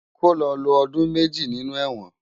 Kó lò ló òdún mèjí ninú èwòn